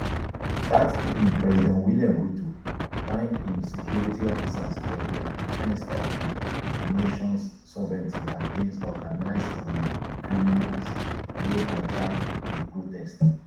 dat evening president william ruto tank im security officers for dia defence of of di nation sovereignty against organised um criminals wey hijack di protests